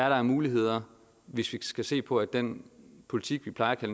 er af muligheder hvis vi skal se på den politik vi plejer at